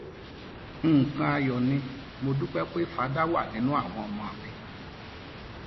nǹkan ayọ ni mo dúpẹ pé fadá wà nínú àwọn ọmọ mi